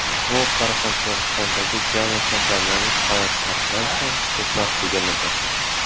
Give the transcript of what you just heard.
Bu Qoraqalpog‘istondagi jami kasallanish holatlaridan ham ko‘proq deganidir.